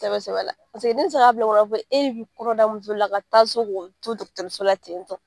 Sɛbɛ sɛbɛ la ne tɛ se k'a bila n kun na e bɛ kɔnɔ da muso la ka taa so k'o to dɔgɔtɔrɔso la ten tɔ